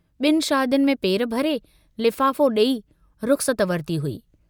बिनि शादियुनि में पेर भरे, लिफाफो डेई रुख़सत वरिती हुई।